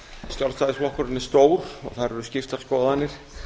sjálfstæðisflokkurinn er stór og þar eru skiptar skoðanir